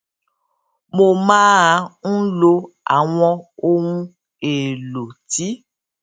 mo máa ń lo àwọn ohun èèlò tí